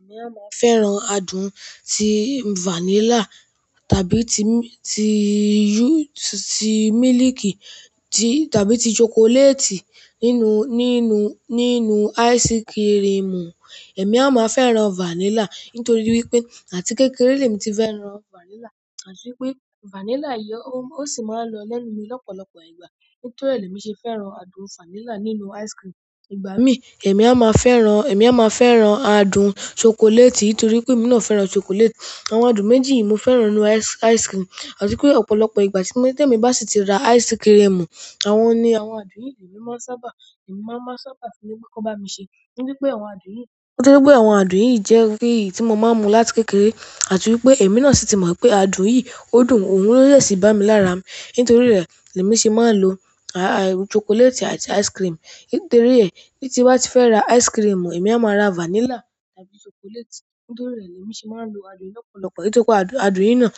Èmi a máa fẹ́ran adùn tí vanilla tàbí ti, ti, ti mílìkì ti tàbí ti chocolate nínú, nínú, nínú ice cream. Èmi a máa fẹ́ran vanilla nítorí wípé àti kékeré ni mo ti fẹ́ran vanilla, àti wípé vanilla ó sì máa ń lọ lẹ́nu mi lọ́pọ̀lọpọ̀ ìgbà. Nítorí ẹ ni èmi ṣe fẹ́ràn adùn vanilla nínú ice cream. Ìgbà mí èmi a máa fẹ́ran, èmi a máa fẹ́ran adùn chocolate nítorí pé èmi náà fẹ́ran chocolate. Àwọn adùn méjèjì ti ni mó fẹ́ràn nínú ice cream àti pé ọ̀pọ̀lọpọ̀ ìgbà témi bá sì ti rà ice cream àwọn adùn yìí ni èmi máa n sábà sọ pé kàn ba mi ṣe nítorí pé àwọn adùn yìí, nítorí pé àwọn adùn yìí jẹ́ èyí tí mo máa ń mu láti kékeré àti wípé èmi náà sì ti mọ̀ pé adùn yìí ó dùn, òun ló dẹ̀ sí i bá mi lára mi. Nítorí rẹ̀ ni èmi ṣe máa ń lo chocolate àti ice cream. Nítorí rẹ̀ tí n bá ti fẹ́ ra ice cream, èmi a máa ra vanilla tàbí chocolate. Nítorí rẹ̀ ni èmi ṣe máa ń lo adùn lọ́pọ̀lọpọ̀. Nítorí pé adùn, adùn yìí náà,